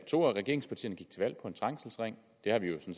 to af regeringspartierne gik til valg på en trængselsring det har vi jo